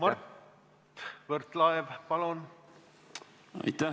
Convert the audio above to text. Mart Võrklaev, palun!